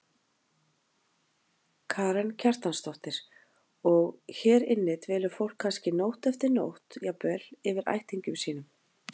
Karen Kjartansdóttir: Og, hér inni dvelur fólk kannski nótt eftir nótt jafnvel, yfir ættingjum sínum?